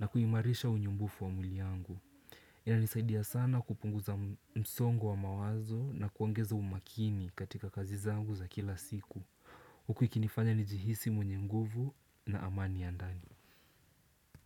na kuimarisha unyumbufu wa mwili yangu. Inanisaidia sana kupunguza msongo wa mawazo na kuongeza umakini katika kazi zangu za kila siku. Huku ikinifanya nijihisi mwenye nguvu na amani ya ndani.